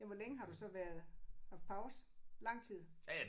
Jamen hvor længe har du så været haft pause? Lang tid